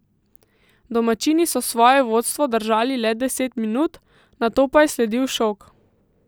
Domačini so svoje vodstvo držali le deset minut, nato pa je sledil šok.